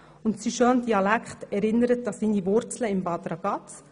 Sein schöner Dialekt erinnert an seine Wurzeln in Bad Ragaz.